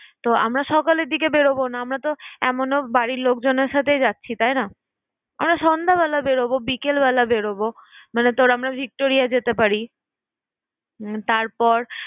তো আমরা সকালের দিকে বেরোবো না। আমরা তো এমনও বাড়ির লোকজনের সাথে যাচ্ছি, তাই না? আমরা সন্ধ্যাবেলা বেরোব, বিকেল বেলা বেরোবো। মানে ধর আমরা victoria যেতে পারি। উম তারপর